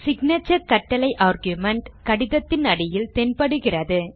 signature கட்டளை argument கடிதத்தின் அடியில் தென் படுகிறது